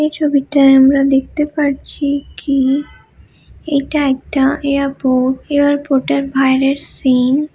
এই ছবিটায় আমরা দেখতে পারছি কি এটা একটা এয়ারপোর্ট এয়ারপোর্ট এর বাইরের সিন।